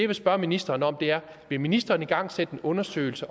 vil spørge ministeren om er vil ministeren igangsætte en undersøgelse